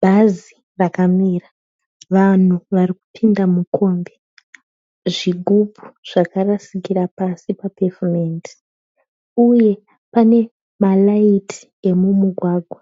Bhazi rakamira. Vanhu varikupinda mukombi. Zvigumbu zvakarasikira pasi papevhumendi, uye pane mariiti emumugwagwa.